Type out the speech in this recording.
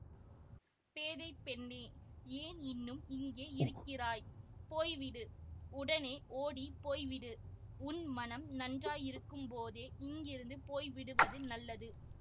பேதை பெண்ணே ஏன் இன்னும் இங்கே இருக்கிறாய் போய்விடு உடனே ஓடி போய்விடு உன் மனம் நன்றாயிருக்கும்போதே இங்கிருந்து போய்விடுவது நல்லது